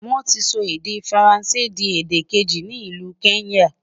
wón tí sọ èdè faransé di èdè keji ní ìlu kenya